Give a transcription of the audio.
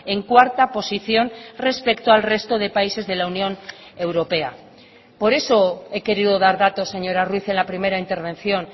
en cuarta posición respecto al resto de países de la unión europea por eso he querido dar datos señora ruiz en la primera intervención